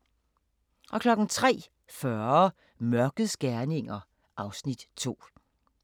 03:40: Mørkets gerninger (Afs. 2)